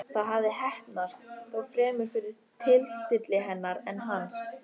Það hafði heppnast, þó fremur fyrir tilstilli hennar en hans.